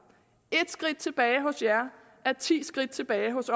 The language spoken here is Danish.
ét skridt tilbage hos jer er ti skridt tilbage hos